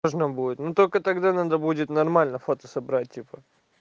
можно будет но только тогда надо будет нормально фото собрать типа